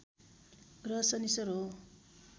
ग्रह शनिश्चर हो